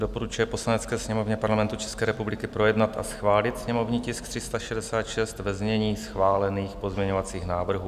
Doporučuje Poslanecké sněmovně Parlamentu České republiky projednat a schválit sněmovní tisk 366 ve znění schválených pozměňovacích návrhů.